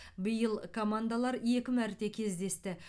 биыл командалар екі мәрте кездесті